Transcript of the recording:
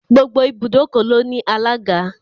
Gbogbo ibùdókọ̀ ló ní alága.